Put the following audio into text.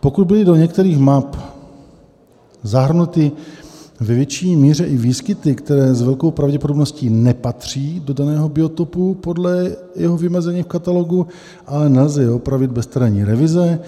Pokud byly do některých map zahrnuty ve větší míře i výskyty, které s velkou pravděpodobností nepatří do daného biotopu podle jeho vymezení v katalogu, ale nelze je opravit bez terénní revize,